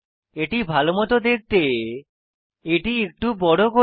এটি ভালো মত দেখতে এটি একটু বড় করি